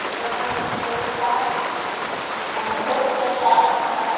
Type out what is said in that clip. Aí foi quando a gente fez essa... Convidou esse pessoal para nos